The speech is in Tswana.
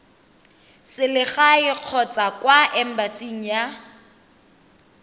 selegae kgotsa kwa embasing ya